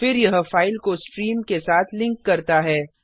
फिर यह फाइल को स्ट्रीम के साथ लिंक करता है